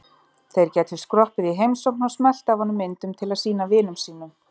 Þeir gætu skroppið í heimsókn og smellt af honum myndum til að sýna vinum sínum.